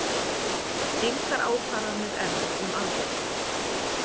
Engar ákvarðanir enn um aðgerðir